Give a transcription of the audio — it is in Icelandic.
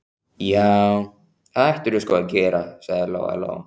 Já, það ættirðu sko að gera, sagði Lóa Lóa.